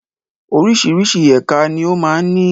Oríṣiríṣi ẹka ni ó ma ń ní.